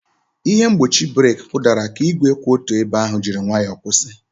Ihe mgbochi breeki kụdara ka igwe kwụ otu ebe ahụ jiri nwayọ kwụsị.